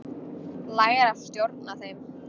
Læra að stjórna þeim.